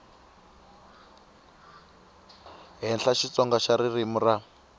henhla xitsonga xa ririmi ra